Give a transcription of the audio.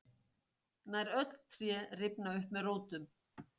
nær öll tré rifna upp með rótum